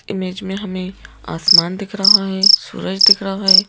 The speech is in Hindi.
इमेज में हमें आसमान दिख रहा है सूरज दिख रहा है।